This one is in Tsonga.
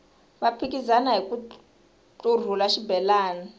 va phikizana hiku ntlurhula xibelani